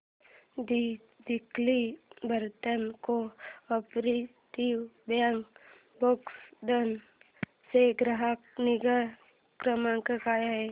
दि Chikhli urban co-operative bank Bhokardan चा ग्राहक निगा क्रमांक काय आहे